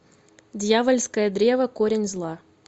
дьявольское древо корень зла